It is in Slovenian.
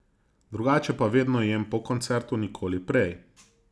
Drugače pa vedno jem po koncertu, nikoli prej.